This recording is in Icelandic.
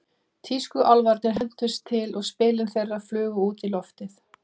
Tískuálfarnir hentust til og spilin þeirra flugu út í loftið.